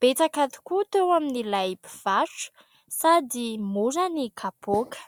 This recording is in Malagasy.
Betsaka tokoa teo amin'ilay mpivarotra sady mora ny kapaoka.